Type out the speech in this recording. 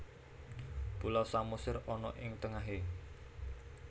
Pulau Samosir ana ing tengahe